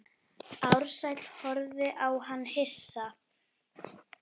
Ársæll horfði á hann hissa.